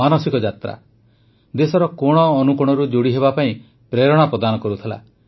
ମାନସିକ ଯାତ୍ରା ଦେଶର କୋଣ ଅନୁକୋଣରୁ ଯୋଡ଼ି ହେବାପାଇଁ ପ୍ରେରଣା ପ୍ରଦାନ କରୁଥିଲା